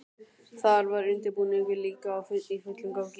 Þar var undirbúningur líka í fullum gangi.